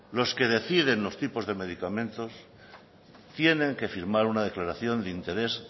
los que deciden los tipos de medicamentos tienen que firmar una declaración de interés